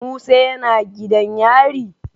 Musa yana gidan yari?